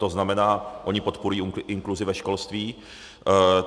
To znamená, oni podporují inkluzi ve školství.